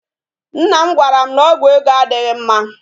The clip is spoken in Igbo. Nna m gwara m na ọgwụ ego adịghị mma